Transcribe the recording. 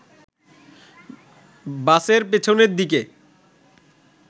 বাসের পেছনের দিকে